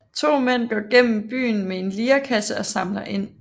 To mænd går gennem byen med en lirekasse og samler ind